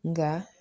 Nka